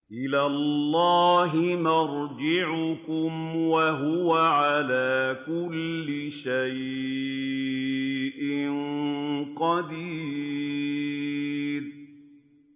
إِلَى اللَّهِ مَرْجِعُكُمْ ۖ وَهُوَ عَلَىٰ كُلِّ شَيْءٍ قَدِيرٌ